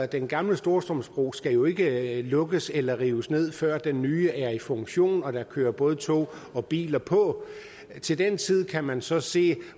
den gamle storstrømsbro skal jo ikke lukkes eller rives ned før den nye er i funktion og der kører både tog og biler på den til den tid kan man så se